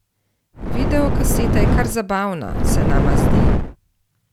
Videokaseta je kar zabavna, se nama zdi.